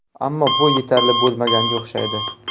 Ammo bu yetarli bo‘lmaganga o‘xshaydi.